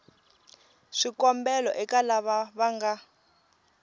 swikombelo eka lava va nga